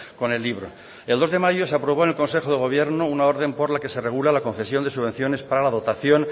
con el libro el dos de mayo se aprobó en el consejo de gobierno una orden por la que se regula la concesión de subvenciones para la dotación